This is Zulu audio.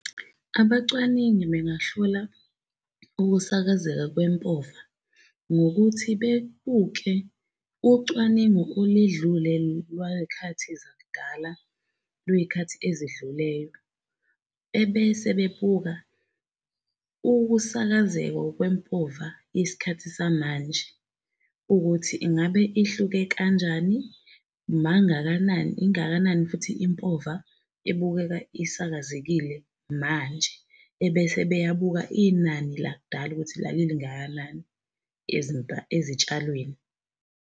Abacwaningi bengahlola ukusakazeka kwe mpofu, ngokuthi bebuke ucwaningo oledlule lway'khathi zak'dala lwey'khathi ezedluleyo. Ebese bebuka ukusakazeka kwe mpova isikhathi samanje ukuthi ingabe ihluke kanjani, ingakanani futhi impova ebukeka isakazekile manje, ebese beyabuka inani lakudala ukuthi lalilingakanani ezitshalweni.